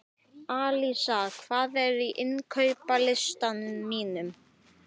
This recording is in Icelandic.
Alísa, hvað er á innkaupalistanum mínum?